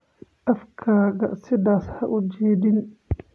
Afkaaga sidaas ha u jiidin